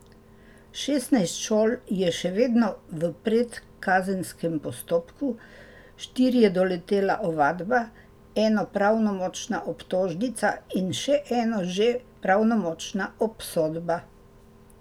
Šestnajst šol je še vedno v predkazenskem postopku, štiri je doletela ovadba, eno pravnomočna obtožnica in še eno že pravnomočna obsodba.